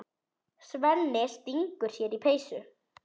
Svenni stingur sér í peysu.